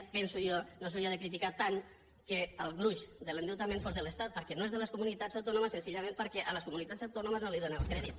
ho penso jo no s’hauria de criticar tant que el gruix de l’endeutament fos de l’estat perquè no és de les comunitats autònomes senzillament perquè a les comunitats autònomes no els donen el crèdit